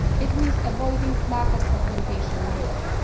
It means avoiding market fragmentation in Europe.